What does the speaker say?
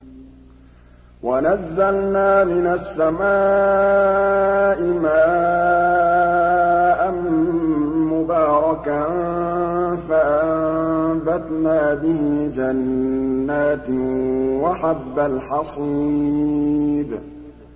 وَنَزَّلْنَا مِنَ السَّمَاءِ مَاءً مُّبَارَكًا فَأَنبَتْنَا بِهِ جَنَّاتٍ وَحَبَّ الْحَصِيدِ